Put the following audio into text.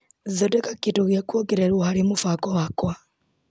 Thondeka kĩndũ gĩa kuongererwo harĩ mũbango wakwa .